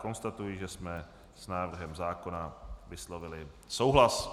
Konstatuji, že jsme s návrhem zákona vyslovili souhlas.